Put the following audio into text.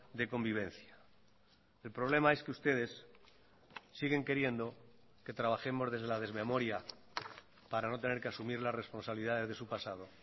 de convivencia el problema es que ustedes siguen queriendo que trabajemos desde la desmemoria para no tener que asumir las responsabilidades de su pasado